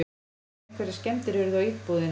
Einhverjar skemmdir urðu á íbúðinni